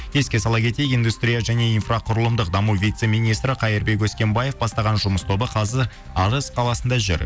еске сала кетейік индустрия және инфроқұрылымдық даму вице министрі қайырбек өскенбаев бастаған жұмыс тобы қазір арыс қаласында жүр